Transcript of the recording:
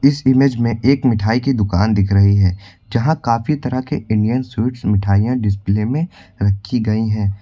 इस इमेज में एक मिठाई की दुकान दिख रही है यहां काफी तरह के इंडियन स्वीट्स मिठाइयां डिस्प्ले में रखी गई हैं।